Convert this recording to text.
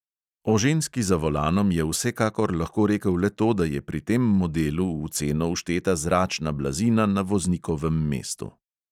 O ženski za volanom je vsekakor lahko rekel le to, da je pri tem modelu v ceno všteta zračna blazina na voznikovem mestu.